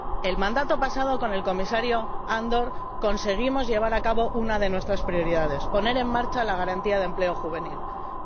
En el mandato pasado, con el Comisario Andor, conseguimos llevar a cabo una de nuestras prioridades poner en marcha la Garantía Juvenil para el empleo.